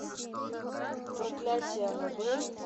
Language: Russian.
проклятие аннабель